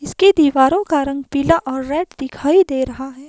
इसकी दीवारों का रंग पीला और रेड दिखाई दे रहा है।